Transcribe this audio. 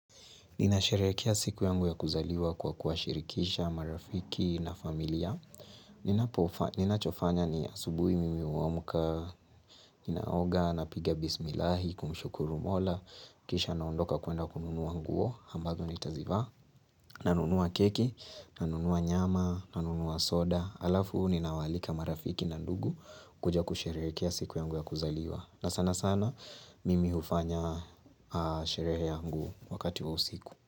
Ninasherehekea siku yangu ya kuzaliwa kwa kuwashirikisha, marafiki na familia. Ninachofanya ni, asubuhi mimi huamka, naoga, napiga bismilahi kumshukuru Mola, kisha naondoka kuenda kununua nguo, ambazo nitazivaa. Nanunua keki, nanunua nyama, nanunua soda. Alafu, ninawaalika marafiki na ndugu kuja kusherehekea siku yangu ya kuzaliwa. Na sanasana mimi hufanya aah sherehe yangu wakati wa usiku.